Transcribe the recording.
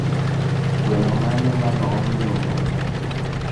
gweno mane manoom nyoro